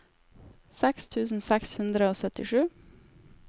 seks tusen seks hundre og syttisju